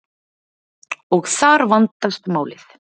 og þar vandast málið